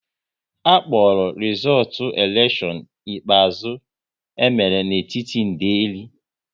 A kpọrọ rizootu elekshion ikpeazụ e mere n'etiti ndeli